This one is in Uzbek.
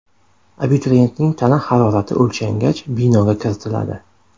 Abituriyentning tana harorati o‘lchangach, binoga kiritiladi.